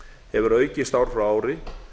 hefur aukist ár frá ári